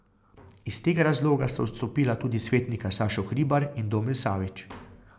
Iz tega razloga sta odstopila tudi svetnika Sašo Hribar in Domen Savič.